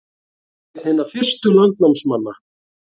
Einn hinna fyrstu landnámsmanna